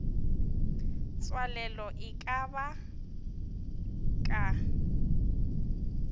tswalelo e ka ba ka